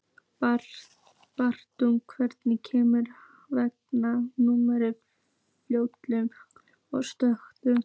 Baui, hvenær kemur vagn númer fjörutíu og sjö?